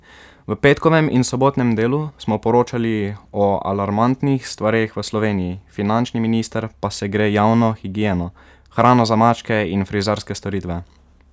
V petkovem in sobotnem Delu smo poročali o alarmantnih stvareh v Sloveniji, finančni minister pa se gre javno higieno, hrano za mačke in frizerske storitve.